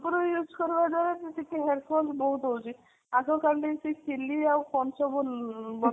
shampoo use କରିବା ଦ୍ୱାରା ଟିକେ hair fall ବହୁତ ହଉଚି ଆଗ କଲି ସେ ଆଉ କଣ ସବୁ